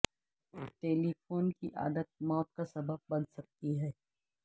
ٹیلی phone کی عادت موت کا سبب بن سکتی ہے